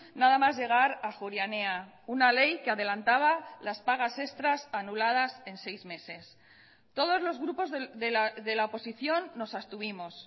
nada más llegar a ajuria enea una ley que adelantaba las pagas extras anuladas en seis meses todos los grupos de la oposición nos abstuvimos